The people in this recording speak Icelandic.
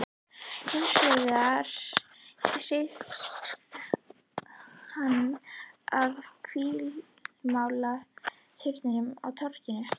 Hins vegar hrífst hann af hvítmáluðum turninum á torginu.